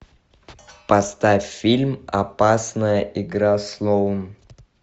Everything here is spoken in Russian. поставь фильм опасная игра слоун